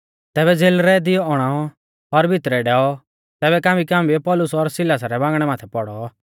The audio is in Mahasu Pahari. तैबै ज़ेलरै दिवौ औणाऔ और भितरै डैऔ तैबै कांबीकांबीयौ पौलुस और सिलासा रै बांगणै माथै पौड़ौ